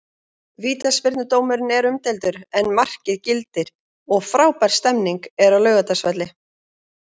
Vítaspyrnudómurinn er umdeildur en markið gildir og frábær stemning er á Laugardalsvelli.